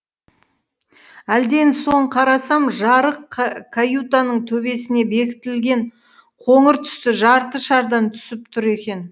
әлден соң қарасам жарық каютаның төбесіне бекітілген қоңыр түсті жарты шардан түсіп тұр екен